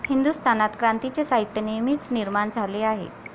हिंदुस्थानात क्रांतीचे साहित्य नेहमीच निर्माण झाले आहे.